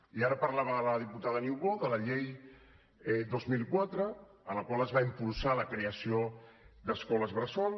i ara parlava la diputada niubó de la llei dos mil quatre en la qual es va impulsar la creació d’escoles bressol